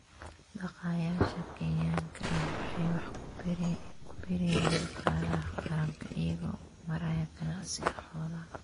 Dhaqaaqayaasha Kenyaanka ah waxay wax ku biiriyaan dhaqaalaha qaranka iyagoo u maraya ganacsiga xoolaha.